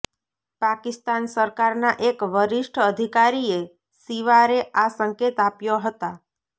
પાકિસ્તાન સરકારનાં એક વરિષ્ઠ અધિકારીએ શિવારે આ સંકેત આપ્યા હતા